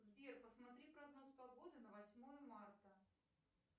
сбер посмотри прогноз погоды на восьмое марта